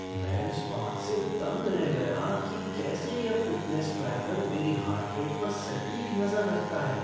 मैं इस बात से दंग रह गया कि कैसे यह फ़िटनेस ट्रैकर मेरी हार्ट रेट पर सटीक नज़र रखता है।